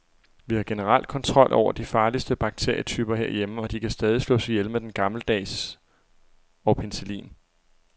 Vi har generelt kontrol over de farligste bakterietyper herhjemme, og de kan stadig slås ihjel med den gammeldags og penicillin.